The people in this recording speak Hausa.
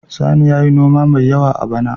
Sani ya yi noma mai yawa a bana.